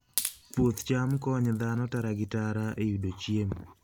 Puoth cham konyo dhano tara gi tara e yudo chiemo.